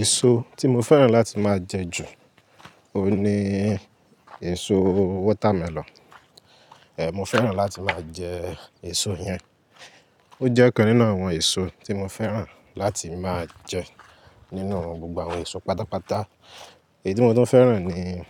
Èso tí mo fẹ́ràn láti máa jẹ ju, oun ní èso watermelon. È mo fẹ́ràn láti máa jẹ èso yẹn. O jẹ́ ọ̀kan nínú àwọn èso tí mo fẹ́ràn láti máa jẹ nínú gbogbo àwọn èso pátápátá. Ití mo tún fẹ́ràn ni